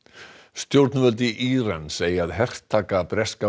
stjórnvöld í Íran segja að hertaka breska